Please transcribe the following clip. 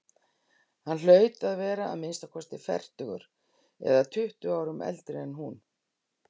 Hann hlaut að vera að minnsta kosti fertugur eða tuttugu árum eldri en hún.